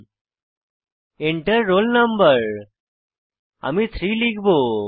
Enter roll no আমি 3 লিখব